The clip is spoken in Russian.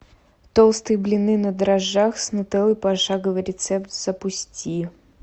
толстые блины на дрожжах с нутеллой пошаговый рецепт запусти